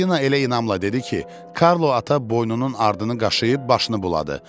Buratino elə inamla dedi ki, Karlo ata boynunun ardını qaşıyıb, başını buladı.